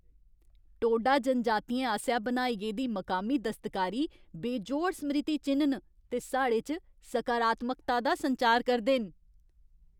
टोडा जनजातियें आसेआ बनाई गेदी मकामी दस्तकारी बेजोड़ स्मृति चि'न्न न ते साढ़े च सकारात्मकता दा संचार करदे न।